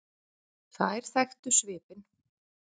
Þær þekktu svipinn.